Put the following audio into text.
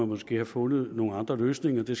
måske have fundet nogle andre løsninger det